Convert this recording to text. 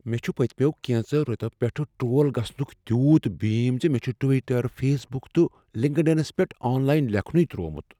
مےٚ چھ پٔتۍمیو کینژو ریتو پیٹھٕ ٹرٛول گژھنک تیوٗت بیٖم زِ مےٚ چھ ٹوٹر، فیس بک تہٕ لنکڈ انس پیٹھ آن لاین لیکھنُے ترٛوومت۔